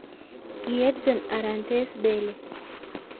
Ki Edson Arantes Pele.